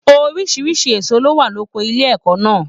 Oríṣiríṣi èso ló wà loko ilé ẹ̀kọ́ náà.